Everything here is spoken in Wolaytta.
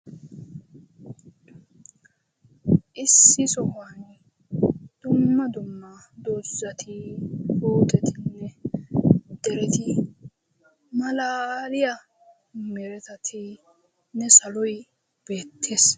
Issi sohuwan dumma dumma doozzati booxetinne dereti malaaliya meretatinne saloy beettes.